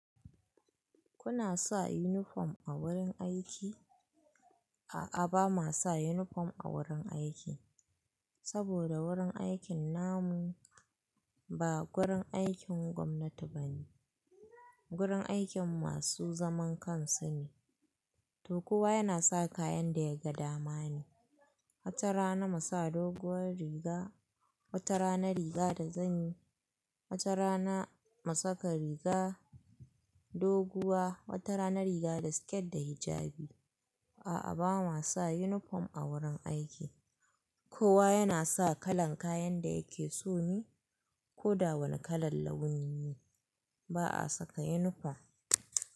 Kuna sa unifom a wurin aiki? A'a, ba ma sa uniform a wurin aiki. Saboda wurin aikin namu ba gurin aikin gwamnati bane. Gurin aikin masu zaman kansu ne. To kowa yana sa kayan da ya ga damani. Wata rana mu sa doguwar riga, wata rana riga da zani, wata rana mu saka riga doguwa, wata rana riga da siket da hijabi. A'a, ba ma sa yunifom a wurin aiki. Kowa yana sa kalan kayan da yake so ni ko da wane kalar launi ne. Ba a saka yunifom.